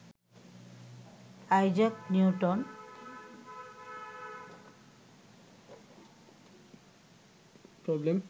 Isaac Newton